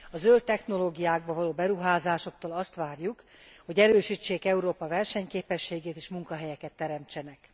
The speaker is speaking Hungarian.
A zöld technológiákba való beruházásoktól azt várjuk, hogy erősítsék Európa versenyképességét és munkahelyeket teremtsenek.